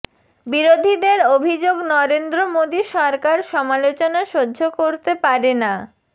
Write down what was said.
বিরোধীদের অভিযোগ নরেন্দ্র মোদী সরকার সমালোচনা সহ্য করতে পারে না